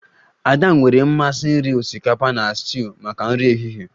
Ada nwere mmasị iri osikapa na stuuyu maka nri ehihie